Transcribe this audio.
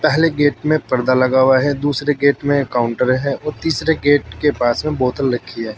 पहले गेट में पर्दा लगा हुआ है दूसरे गेट में काउंटर है और तीसरे गेट के पास में बोतल रखी है।